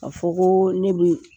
Ka fɔ ko ne bi